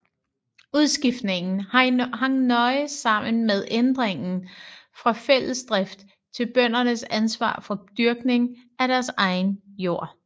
Udskiftningen hang nøje sammen med ændringen fra fællesdrift til bøndernes ansvar for dyrkningen af deres egen jord